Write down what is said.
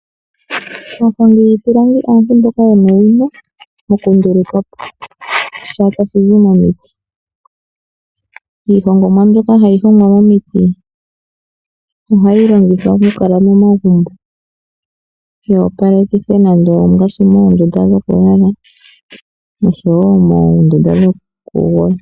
Aahongi yiipilangi aantu mboka yena owino mokunduluka po sha tashi zi momiti. Iihongomwa mbyoka hayi hongwa momiti ohayi longithwa okukala momagumbo. Yi opalekithe ngaashi moondunda dhokulala nosho wo moondunda dhokugondja.